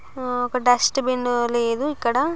ఆ ఒక dustbin లేదు ఇక్కడ.